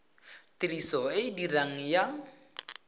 tiriso e e diregang ya